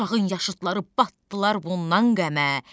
Uşağın yaşıdları batdılar bundan qəmə.